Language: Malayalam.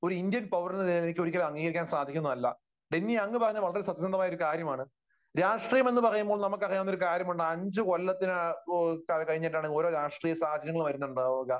ഇന്ത്യൻ പൗരൻ എന്ന നിലയിൽ എനിക്ക് ഒരു കാലത്തും അംഗീകരിക്കാൻ സാധിക്കുന്നതല്ല. ഡെന്നി അങ്ങ് പറഞ്ഞത് വളരെ സത്യസന്ധമായ ഒരു കാര്യമാണ്. രാഷ്ട്രീയം എന്ന് പറയുമ്പോൾ നമുക്ക് അറിയാവുന്ന ഒരു കാര്യമുണ്ട്. അഞ്ചു കൊല്ലത്തിന, കഴിഞ്ഞിട്ടാണ് ഓരോ രാഷ്ട്രീയ സാഹചര്യങ്ങൾ വരുന്നുണ്ടാകുക.